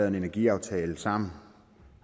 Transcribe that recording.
en energiaftale sammen